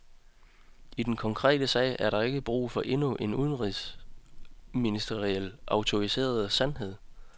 I den konkrete sag er der ikke brug for endnu en udenrigsministerielt autoriseret sandhed.